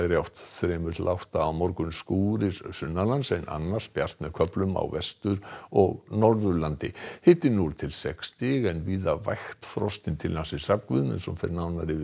átt þrír til átta á morgun skúrir suðaustanlands en annars bjart með köflum á Vestur og Norðurlandi hiti núll til sex stig en víða vægt frost inn til landsins Hrafn Guðmundsson fer nánar yfir